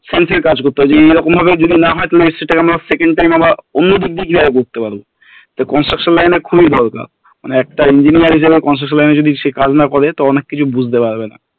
Field এর কাজ করতে হয় যে এইরকম ভাবে যদি না হয় তাহলে সেটাকে আমরা second time আবার অন্য দিক দিয়ে কিভাবে করতে পারবো তো construction line এর খুবই দরকার মানে একটা engineer হিসেবে construction line এ সে যদি কাজু না করে তো অনেক কিছু বুঝতে পারবে না